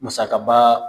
Musakaba